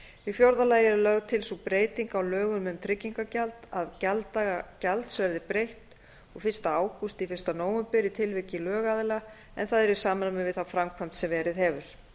í fjórða lagi er lögð til sú breyting á lögum um tryggingagjald að gjalddaga gjalds verði breytt úr fyrsta ágúst í fyrsta nóvember í tilviki lögaðila en það er í samræmi við þá framkvæmd sem verið hefur